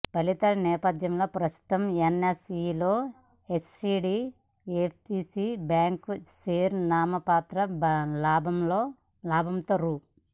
ఫలితాల నేపథ్యంలో ప్రస్తుతం ఎన్ఎస్ఈలో హెచ్డీఎఫ్సీ బ్యాంక్ షేరు నామమాత్ర లాభంతో రూ